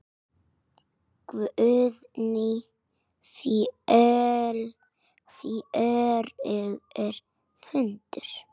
Guðný: Fjörugur fundur?